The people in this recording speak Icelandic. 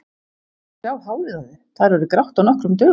Og sjá hárið á þér, það er orðið grátt á nokkrum dögum.